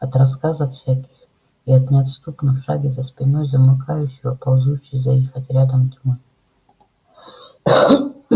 от рассказов всяких и от неотступно в шаге за спиной замыкающего ползущей за их отрядом тьмы